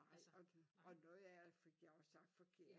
Nej og og noget af det fik jeg også sagt forkert